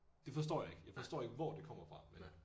Det forstår jeg ikke jeg forstår ikke hvor det kommer fra men